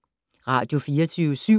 Radio24syv